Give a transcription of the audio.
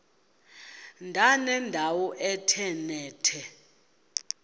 ndanendawo ethe nethe